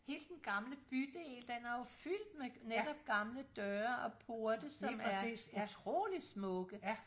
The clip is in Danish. Hele den gamle bydel den er jo fyldt med netop gamle døre og porte som er utroligt smukke